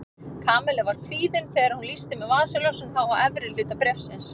Kamilla var kvíðin þegar hún lýsti með vasaljósinu á efri hluta bréfsins.